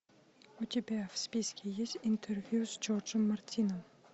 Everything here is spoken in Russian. у тебя в списке есть интервью с джорджем мартином